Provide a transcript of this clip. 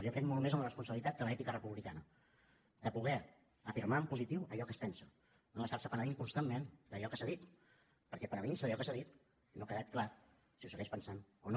jo crec molt més en la responsabilitat que de l’ètica republicana de poder afirmar en positiu allò que es pensa no d’estar se penedint constantment d’allò que s’ha dit perquè penedint se d’allò que s’ha dit no ha quedat clar si ho segueix pensant o no